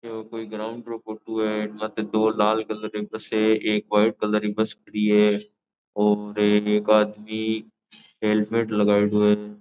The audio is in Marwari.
यो कोई ग्राउंड रो फोटो है मध्ये दो लाल कलर री बस है एक वाइट कलर री बस खडी है और एक आदमी हेलमेट लगयेड़ो है।